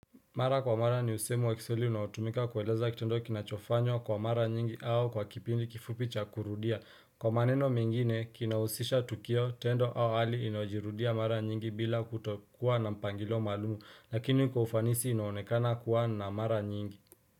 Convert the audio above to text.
Mara kwa mara ni usemu wa kiswahili unautumika kullleza kitendo kinachofanyo kwa mara nyingi au kwa kipindi kifupicha kurudia. Kwa maneno mengine kina husisha tukio tendo au hali inajirudia mara nyingi bila kutokuwa na mpangilo malumu lakini kufanisi inaonekana kuwa na mara nyingi.